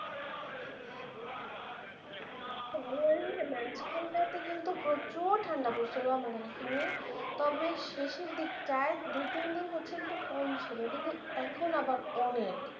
জানুয়ারির মাঝখানটাতে কিন্তু প্রচুর ঠাণ্ডা পড়সিল আমাদের এখানে, তবে শেষের দিকটায় দুই তিন হচ্ছে কম ছিল, কিন্তু এখন আবার অনেক